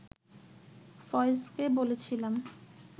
ফয়েজকে বলেছিলাম